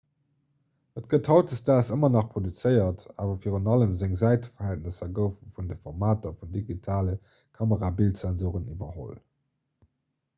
et gëtt hautdesdaags ëmmer nach produzéiert awer virun allem seng säiteverhältnesser goufe vun de formater vun digitale kamerabildsensore iwwerholl